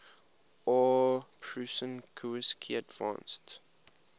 aw prusinkiewicz advanced